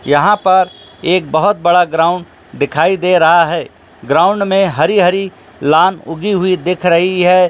यहां पर एक बहुत बड़ा ग्राउंड दिखाई दे रहा है ग्राउंड में हरी- हरी लान उगी हुई दिख रही है।